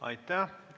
Aitäh!